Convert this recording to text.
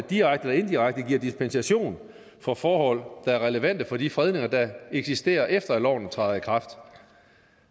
direkte eller indirekte giver dispensation for forhold der er relevante for de fredninger der eksisterer efter at loven træder i kraft